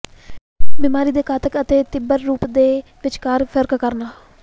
ਬਿਮਾਰੀ ਦੇ ਘਾਤਕ ਅਤੇ ਤੀਬਰ ਰੂਪ ਦੇ ਵਿਚਕਾਰ ਫਰਕ ਕਰਨਾ